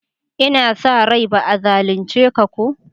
N'na sa rai ba'a zalunce ka ko?